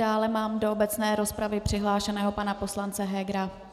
Dále mám do obecné rozpravy přihlášeného pana poslance Hegera.